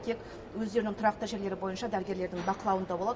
тек өздерінің тұрақты жерлері бойынша дәрігерлердің бақылауында болады